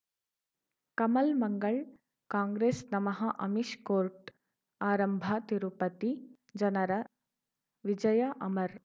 ಕಮಲ್ ಮಂಗಳ್ ಕಾಂಗ್ರೆಸ್ ನಮಃ ಅಮಿಷ್ ಕೋರ್ಟ್ ಆರಂಭ ತಿರುಪತಿ ಜನರ ವಿಜಯ ಅಮರ್